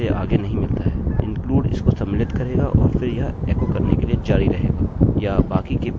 include इसको सम्मिलित करेगा और फिर यह एकोecho करने के लिए जारी रहेगा या बाकी के पेज को रन करते हुए आगे बढ़ेगा